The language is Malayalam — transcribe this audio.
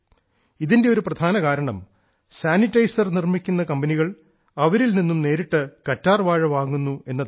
ഇതിന്റെ ഒരു പ്രധാന കാരണം സാനിറ്റൈസർ നിർമിക്കുന്ന കമ്പനികൾ അവരിൽ നിന്ന് നേരിട്ട് കറ്റാർവാഴ വാങ്ങുന്നു എന്നതാണ്